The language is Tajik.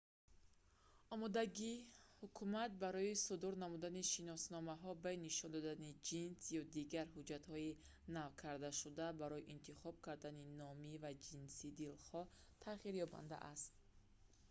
омодагии ҳукумат барои судур намудани шиносномаҳо бе нишон додани ҷинс x ё дигар ҳуҷҷатҳои навкардашуда барои интихоб кардани номи ва ҷинси дилхоҳ тағйирёбанда аст